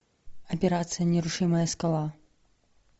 операция нерушимая скала